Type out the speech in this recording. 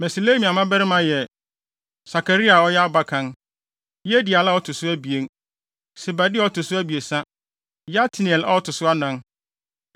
Meselemia mmabarima yɛ: Sakaria a ɔyɛ abakan, Yediael a ɔto so abien, Sebadia a ɔto so abiɛsa, Yatniel a ɔto so anan.